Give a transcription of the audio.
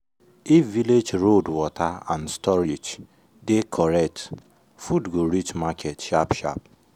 if village road water and storage dey correct food go reach market sharp sharp.